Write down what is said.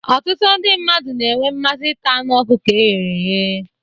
Ọtụtụ ndị mmadụ na-enwe mmasị ita anụ ọkụkọ e ghere eghe